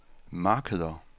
markeder